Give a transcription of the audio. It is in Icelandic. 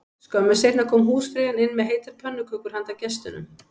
Skömmu seinna kom húsfreyjan inn með heitar pönnukökur handa gestunum